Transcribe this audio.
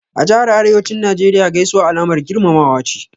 A Jahar Arewacin Najeriya Gaisuwa Alamar girmamawa ce.